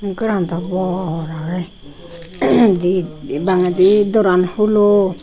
goran dow bor agey di bangedi doran hulo.